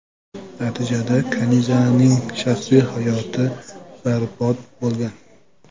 Natijada Kanizaning shaxsiy hayoti barbod bo‘lgan.